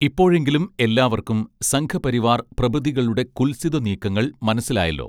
ഇപ്പോഴെങ്കിലും എല്ലാവർക്കും സംഘ പരിവാർ പ്രഭൃതികളുടെ കുൽസിത നീക്കങ്ങൾ മനസ്സിലായല്ലോ